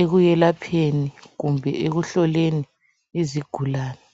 ekuyelapheni kumbe ekuhloleni izigulane.